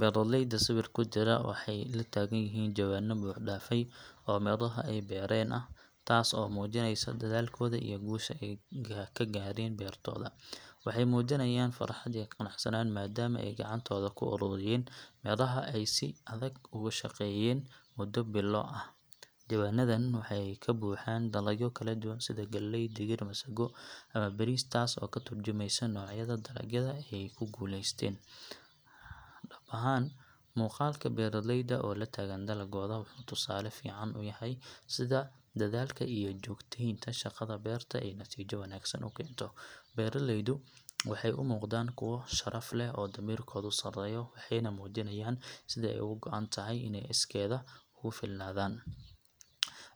Beeraleyda sawirka ku jira waxay la taagan yihiin jawaanno buuxdhaafay oo miraha ay beereen ah, taas oo muujinaysa dadaalkooda iyo guusha ay ka gaareen beertooda. Waxay muujinayaan farxad iyo qanacsanaan maadaama ay gacantooda ku ururiyeen midhaha ay si adag ugu shaqeeyeen muddo bilo ah. Jawaanadan waxay ka buuxaan dalagyo kala duwan sida galley, digir, masago ama bariis taas oo ka turjumaysa noocyada dalagyada ay ku guuleysteen. Dhab ahaan, muuqaalka beeraleyda oo la taagan dalaggooda wuxuu tusaale fiican u yahay sida dadaalka iyo joogtaynta shaqada beerta ay natiijo wanaagsan u keento. Beeraleydu waxay u muuqdaan kuwo sharaf leh oo damiirkoodu sarreeyo, waxayna muujinayaan sida ay uga go'an tahay inay iskeed ugu filnaadaan